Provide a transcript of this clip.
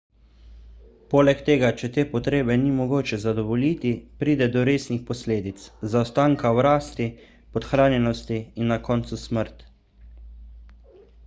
poleg tega če te potrebe ni mogoče zadovoljiti pride do resnih posledic zaostanka v rasti podhranjenosti in na koncu smrt